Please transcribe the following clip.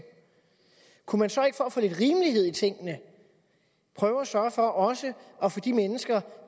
kunne man så ikke for at få lidt rimelighed i tingene prøve at sørge for også at få de mennesker